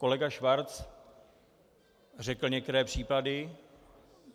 Kolega Schwarz řekl některé příklady.